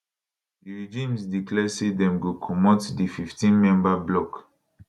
di regimes declare say dem go comot di 15 member bloc